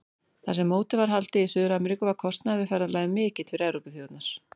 Þar sem mótið var haldið í Suður-Ameríku var kostnaður við ferðalagið mikill fyrir Evrópuþjóðirnar.